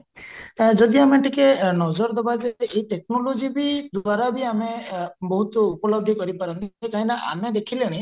ଯଦି ଆମେ ଟିକେ ନଜର ଦବାଯେ ଏଇ technologyବି ଦ୍ଵାରାବି ଆମେ ବହୁତ ଉପଲବ୍ଧି କରିପାରନ୍ତ କାହିଁକି ନା ଆମେ ଦେଖିଲେଣି